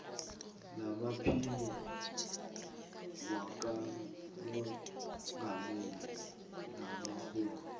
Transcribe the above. namaphini wakamongameli nabarholi